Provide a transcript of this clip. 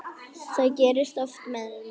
Það gerist oftast með mig.